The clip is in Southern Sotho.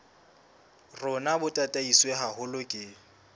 rona bo tataiswe haholo ke